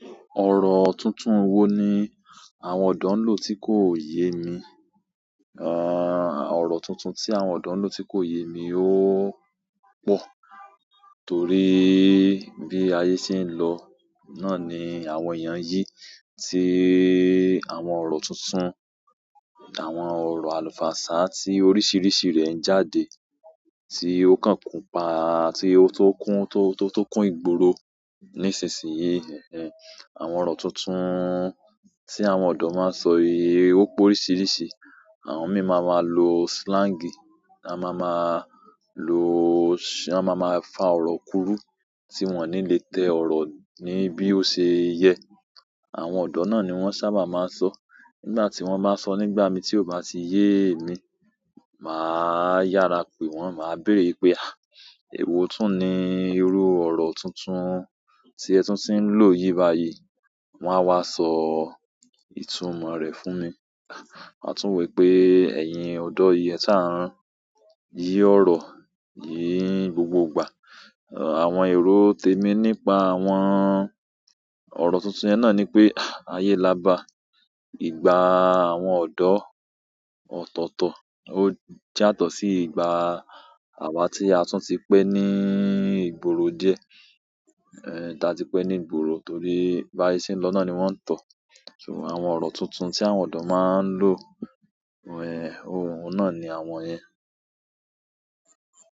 Ọ̀rọ̀ tuntun wo ni àwọn ọ̀dọ́ ń lò tí kò yé mi? Àh-, ọ̀rọ̀ tuntun tí àwọn ọ̀dọ́ ń lò tí kò yé mi ó pọ̀. Torí bí ayé ṣe ń lọ, náà ni àwọn èèyàn yí, tí àwọn ọ̀rọ̀ tuntun, àwọn ọ̀rọ̀ àlùfàǹsá tí oríṣiríṣi rẹ̀ ń jáde, tí ó kàn kún pa àti tun kún tó, tó, tun kún ìgboro nísinsìnyí. Ẹ̀ẹ̀, àwọn ọ̀rọ̀ tuntun tí àwọn ọ̀dọ́ má ń sọ yí ó pe oríṣiríṣi. Àwọn mí ma máa lo slang, a má ma lò, a má ma fa ọ̀rọ̀ kúrú tí wọ́n ò ní lè tẹ ọ̀rọ̀ ní bí ó ṣe yẹ. Àwọn ọ̀dọ́ náà ni wọ́n sábà má ń sọ. Nígbà tí wọ́n bá sọ nígbà mi tí ò bá ti yé emi, màá yára pè wọ́n, màá béèrè pé "à, èwo tún ni irú ọ̀rọ̀ tuntun tí ẹ tún ti ń lò yìí báyìí?" Wọ́n á wá sọ ìtumọ̀ rẹ̀ fún mi. A tún wo wipé ẹ̀yìn ọ̀dọ́ yí ẹ sá n. Yí ọ̀rọ̀ yìí gbogbo ìgbà. Àwọn èrò temí nípa àwọn ọ̀rọ̀ tuntun yẹn náà ni pé, ayé lába. Ìgbà àwọn ọ̀dọ́ ọ̀tọ̀ọ̀tọ̀ ó jàato sí ìgbà àwa tí a tún ti pẹ́ ní ìgboro díẹ̀. Ẹ̀, ta ti pẹ́ ní ìgboro torí bí ayé ṣe ń lọ náà ni wọ́n ń tọ̀. So, àwọn ọ̀rọ̀ tuntun tí àwọn ọ̀dọ́ má ń lò, ẹ̀, oun náà ni àwọn yẹn.